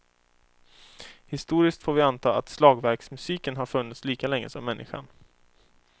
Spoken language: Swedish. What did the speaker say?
Historiskt får vi anta att slagverksmusiken har funnits lika länge som människan.